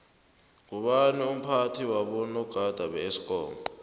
ngubani umphathi wabonagada beesikomu